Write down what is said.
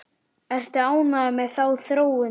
Ertu ánægður með þá þróun?